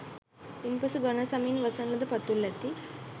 ඉන් පසු ඝන සමින් වසන ලද පතුල් ඇති